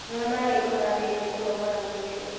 Nyua maĩi ũtambĩtie kũnogora mwĩrĩ